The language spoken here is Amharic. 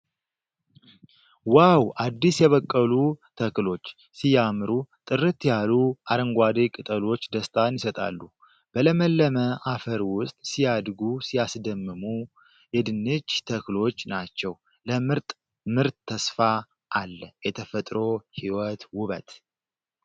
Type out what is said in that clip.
ዋው! አዲስ የበቀሉ ተክሎች ሲያምሩ ! ጥርት ያሉ አረንጓዴ ቅጠሎች ደስታን ይሰጣሉ ። በለመለመ አፈር ውስጥ ሲያድጉ ሲያስደምሙ ። የድንች ተክሎች ናቸው። ለምርጥ ምርት ተስፋ አለ። የተፈጥሮ ሕይወት ውበት!